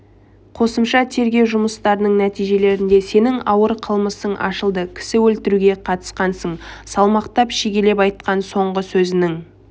қосымша тергеу жұмыстарының нәтижесінде сенің ауыр қылмысың ашылды кісі өлтіруге қатысқансың салмақтап шегелеп айтқан соңғы сөзінің